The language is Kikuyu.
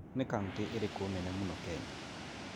Nĩ kauntĩ ĩrĩkũ nene mũno Kenya?